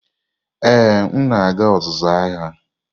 Ee, m na-aga ọzụzụ agha.